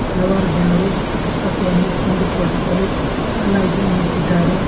ಹಲವಾರು ಜನರು ಪುಸ್ತಕವನ್ನು ಕೊಂಡುಕೊಳ್ಳಲು ಸಾಲಾಗಿ ನಿಂತಿದ್ದಾರೆ.